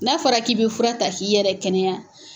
N'a fɔra k'i bɛ fura ta k'i yɛrɛ kɛnɛya